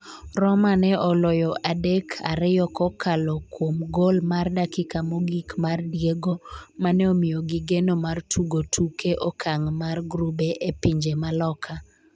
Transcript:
Roma ne oloyo adek-ariyo kokalo kuom gol mar dakika mogik mar Diego mane omiyogi geno mar tugo tuke okang' mar grube e pinje ma loka